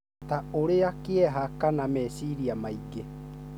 ta ũrĩa kĩeha, kana meciria maingĩ,